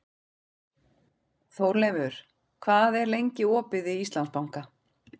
Þórleifur, hvað er lengi opið í Íslandsbanka?